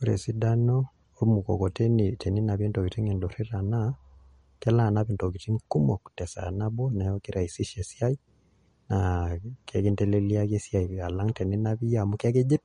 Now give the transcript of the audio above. Ore esidano ormukokoteni teninapie ntokitin indurrira naa kelo anap ntokitin kumok tesaa nabo neeku kiraisisha esiai naa kinteleliaki esiai alang' teninap iyie amu kakijip